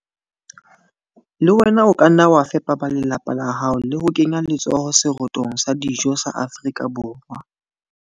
Le wena o ka nna wa fepa ba lelapa la hao le ho kenya letsoho serotong sa dijo sa Afrika Borwa.